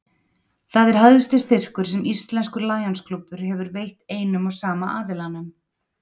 Það er hæsti styrkur sem íslenskur Lionsklúbbur hefur veitt einum og sama aðilanum.